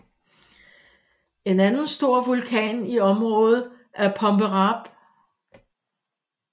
En anden stor vulkan i området er Pomerape